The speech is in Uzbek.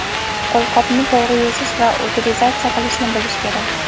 qo‘lqopni to‘g‘ri yechish va utilizatsiya qilishni bilish kerak.